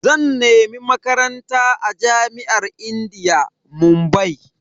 Zan nemi Makaranta a jami'ar indiya, Mumbai.